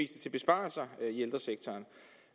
til besparelser i ældresektoren